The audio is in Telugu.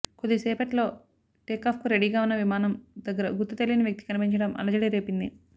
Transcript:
కొద్దిసేపట్లో టేకాఫ్కు రెడీగా ఉన్న విమానం దగ్గర గుర్తు తెలియని వ్యక్తి కనిపించడం అలజడి రేపింది